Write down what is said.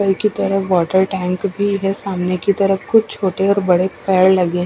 कल की तरह वाटर टैंक भी है सामने की तरफ कुछ छोटी ओ बड़ी पैर लगे है।